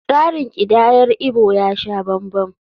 Tsarin kidayar Igbo ya sha banban.